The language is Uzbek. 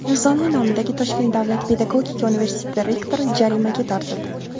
Nizomiy nomidagi Toshkent davlat pedagogika universiteti rektori jarimaga tortildi.